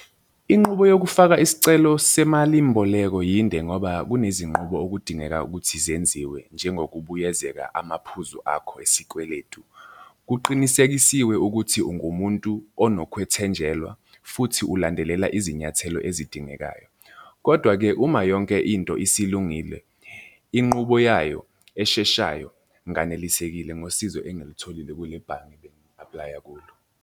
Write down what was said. Inqubo yokufaka isicelo semalimboleko yinde ngoba kunezinqubo okudingeka ukuthi zenziwe, njengokubuyezeka amaphuzu akho esikweletu. Kuqinisekisiwe ukuthi ungumuntu onokwethenjelwa, futhi ulandelela izinyathelo ezidingekayo, kodwa-ke uma yonke into isilungile, inqubo yayo esheshayo. Nganelisekile ngosizo engilitholile kule bhange ebengi-aplaya kulo.